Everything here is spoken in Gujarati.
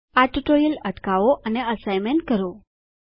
આ ટ્યુટોરીયલ અટકાવો અને એસાઈનમેંટ કરો